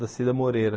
Da Cida Moreira.